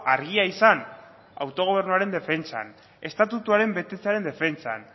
argia izan autogobernuaren defentsan estatutuaren betetzearen defentsan